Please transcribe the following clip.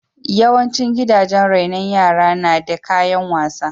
Yawaicin gidajen rainon yara na da kayan wasa.